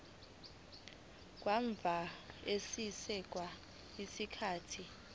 kamuva sekwedlule isikhathi